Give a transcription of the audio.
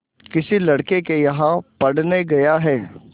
किसी लड़के के यहाँ पढ़ने गया है